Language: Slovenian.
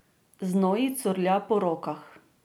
Znoj ji curlja po rokah.